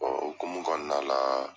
o hokumu kɔnɔna la.